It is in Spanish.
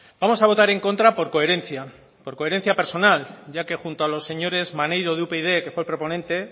vamos a votar en contra por coherencia por coherencia personal ya que junto a los señores maneiro de upyd que fue el proponente